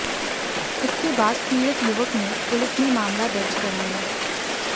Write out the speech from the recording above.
इसके बाद पीड़ित युवक ने पुलिस में मामला दर्ज कराया